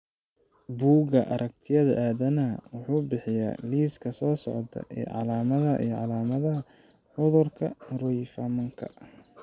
Buugga Aragtiyaha Aadanaha wuxuu bixiyaa liiska soo socda ee calaamadaha iyo calaamadaha cudurka Roifmanka .